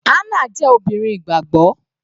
Hannah jẹ́ obìnrin ìgbàgbọ́.